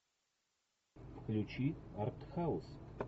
включи артхаус